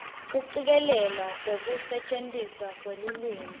kucikelelwa kwekusetjentiswa kwelulwimi